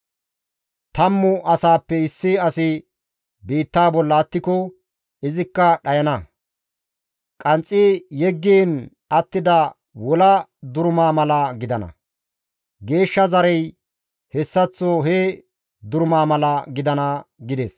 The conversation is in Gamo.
Tammu asaappe issi asi biittaa bolla attiko, izikka dhayana; qanxxi yeggiin attida wolaa duruma mala gidana; geeshsha zarey hessaththo he duruma mala gidana» gides.